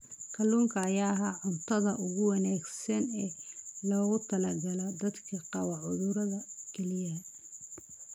Kalluunka ayaa ah cuntada ugu wanaagsan ee loogu talagalay dadka qaba cudurrada kelyaha.